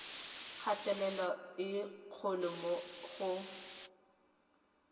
kgatelelo e kgolo mo go